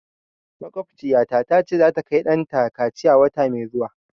Makwabtaciyata ta ce za ta kai ɗanta kaciya wata mai zuwa